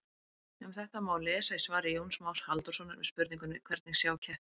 Um þetta má lesa í svari Jóns Más Halldórssonar við spurningunni Hvernig sjá kettir?